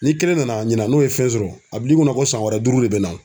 Ni kelen nana ɲina n'o ye fɛn sɔrɔ a bil'i kunna ko san wɛrɛ duuru de bɛ na.